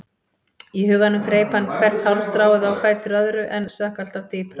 Í huganum greip hann í hvert hálmstráið á fætur öðru en sökk alltaf dýpra.